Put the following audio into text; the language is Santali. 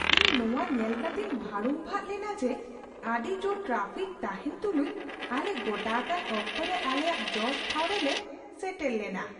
ᱤᱧ ᱱᱚᱣᱟ ᱧᱮᱞ ᱠᱟᱛᱮᱧ ᱵᱷᱟᱹᱲᱩᱢᱵᱟᱜ ᱞᱮᱱᱟ ᱡᱮ ᱟᱹᱰᱤ ᱡᱳᱨ ᱴᱨᱟᱯᱷᱤᱠ ᱛᱟᱦᱮᱱ ᱛᱩᱞᱩᱡ, ᱟᱞᱮ ᱜᱚᱴᱟ ᱟᱠᱟᱱ ᱚᱠᱛᱚᱨᱮ ᱟᱞᱮᱭᱟᱜ ᱡᱚᱥ ᱴᱷᱟᱶ ᱨᱮᱞᱮ ᱥᱮᱴᱮᱨ ᱞᱮᱱᱟ !"